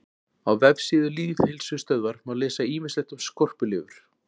Á vefsíðu Lýðheilsustöðvar má lesa ýmislegt um skorpulifur.